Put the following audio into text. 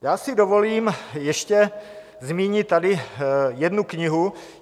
Já si dovolím ještě zmínit tady jednu knihu.